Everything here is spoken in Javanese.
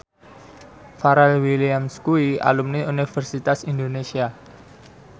Pharrell Williams kuwi alumni Universitas Indonesia